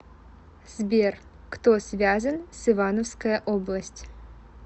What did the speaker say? сбер кто связан с ивановская область